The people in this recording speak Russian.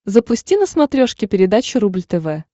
запусти на смотрешке передачу рубль тв